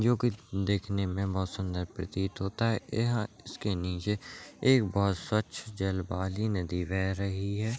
जो की देखने में बहुत सुन्दर प्रतीत होता है इसके नीचे एक बहुत स्वच्छ जल वाली नदी बह रही है।